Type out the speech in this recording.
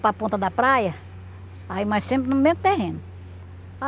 para ponta da praia, aí mas sempre no mesmo terreno.